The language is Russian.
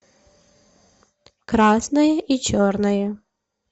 красное и черное